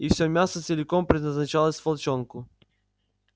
и всё мясо целиком предназначалось волчонку